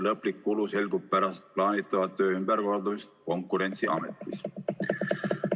Lõplik kulu selgub pärast plaanitava töö ümberkorraldamist Konkurentsiametis.